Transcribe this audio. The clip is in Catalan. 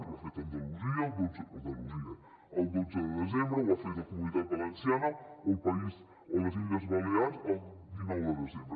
ho ha fet andalusia el dotze de desembre ho ha fet la comunitat valenciana o les illes balears el dinou de desembre